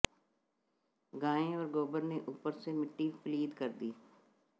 गाय और गोबर ने ऊपर से मिट्टी पलीद कर दी